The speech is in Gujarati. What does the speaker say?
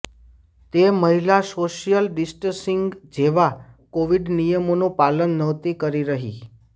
તે મહિલા સોશ્યલ ડિસ્ટન્સિંગ જેવા કોવિડ નિયમોનું પાલન નહોતી કરી રહી